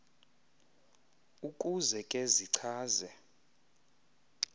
ukuze ke zichaze